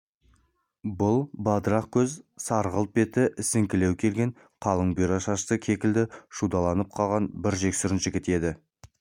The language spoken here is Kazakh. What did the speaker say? бұл бадырақ көз сарғылт беті ісіңкілеу келген қалың бұйра шашты кекілі шудаланып қалған бір жексұрын жігіт еді